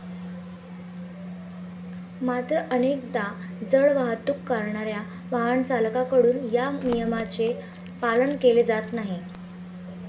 मात्र, अनेकदा जड वाहतूक करणाऱ्या वाहनचालकांकडून या नियमांचे पालन केले जात नाही.